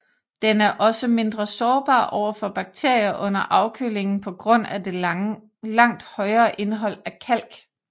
Den er også mindre sårbar over for bakterier under afkølingen på grund af det langt højere indhold af kalk